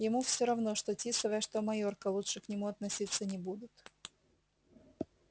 ему всё равно что тисовая что майорка лучше к нему относиться не будут